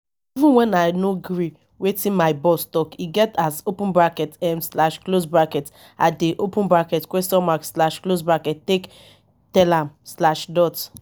even wen i no gree wetin my boss talk e get as open bracket um slash close bracket i dey open bracket question mark slash close bracket take tell am slash dot